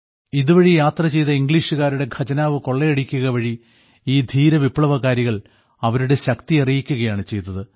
ഇതുവഴി യാത്ര ചെയ്ത ഇംഗ്ലീഷുകാരുടെ ഖജനാവ് കൊള്ളയടിക്കുകവഴി ഈ ധീര വിപ്ലവകാരികൾ അവരുടെ ശക്തി അറിയിക്കുകയാണ് ചെയ്തത്